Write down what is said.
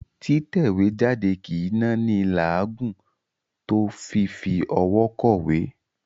Títẹ̀wéjáde kì í náni láàágùn tó fífi ọwọ́ kọ̀wé.